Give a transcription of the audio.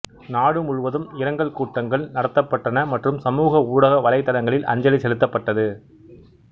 நாடு முழுவதும் இரங்கல் கூட்டங்கள் நடத்தப்பட்டன மற்றும் சமூக ஊடக வலைத்தளங்களில் அஞ்சலி செலுத்தப்பட்டது